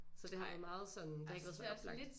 Så det har været meget sådan det har ikke været så oplagt